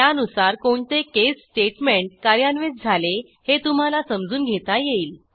त्यानुसार कोणते case statement कार्यान्वित झाले हे तुम्हाला समजून घेता येईल